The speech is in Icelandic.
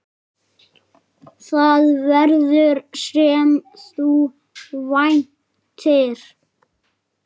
Það verður, sem þú væntir.